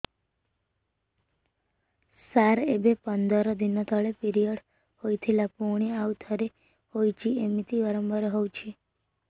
ସାର ଏବେ ପନ୍ଦର ଦିନ ତଳେ ପିରିଅଡ଼ ହୋଇଥିଲା ପୁଣି ଆଉଥରେ ହୋଇଛି ଏମିତି ବାରମ୍ବାର ହଉଛି